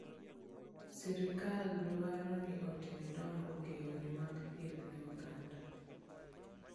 Sirkal dwaro ni otim dongruok e yore mag thieth ne oganda.